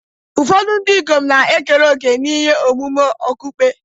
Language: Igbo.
Ụfọdụ ndị ikom na-ekere òkè n'ihe omume okpukpe.